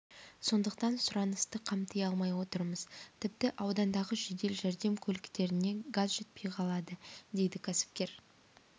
сондықтан сұранысты қамти алмай отырмыз тіпті аудандағы жедел жәрдем көліктеріне газ жетпей қалады дейді кәсіпкер